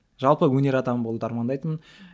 жалпы өнер адамы болуды армандайтынмын